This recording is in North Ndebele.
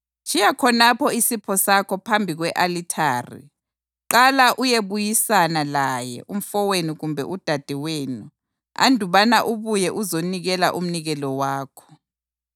tshiya khonapho isipho sakho phambi kwe-alithari. Qala uyebuyisana laye umfowenu kumbe udadewenu andubana ubuye uzonikela umnikelo wakho.